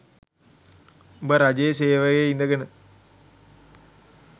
උඹ රජයේ සේවයේ ඉඳගෙන